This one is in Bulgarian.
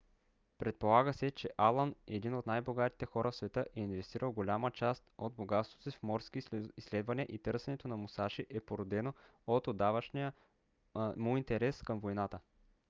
предполага се че алън един от най-богатите хора в света е инвестирал голяма част от богатството си в морски изследвания и търсенето на мусаши е породено от отдавнашния му интерес към войната